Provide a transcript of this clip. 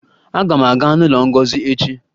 Aga m aga n'ụlọ Ngozi echi